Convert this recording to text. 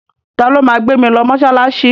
Ta ló ma gbé mi lọ mọ́ṣáláṣí?